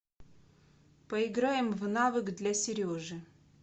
поиграем в навык для сережи